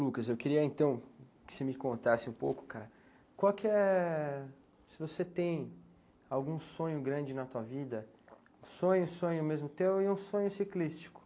Lucas, eu queria então que você me contasse um pouco, cara, qual que é... Se você tem algum sonho grande na tua vida, sonho, sonho mesmo teu e um sonho ciclístico?